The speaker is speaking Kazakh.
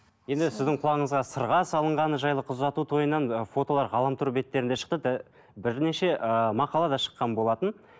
енді сіздің құлағыңызға сырға салынғаны жайлы қыз ұзату тойынан фотолар ғаламтор беттерінде шықты бірнеше ыыы мақала да шыққан болатын